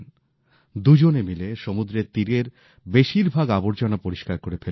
দুজনে মিলে সমুদ্রের তীরের বেশিরভাগ আবর্জনা পরিষ্কার করে ফেললেন